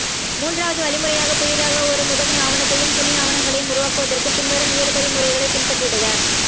மூன்றாவது வழிமுறையாக புதியதாக ஒரு முதன்மைஆவணத்தையும் துனை ஆவணங்களையும் உருவாக்குவதற்கு பின்வரும் ஏழுபடிமுறைகளை பின்பற்றிடுக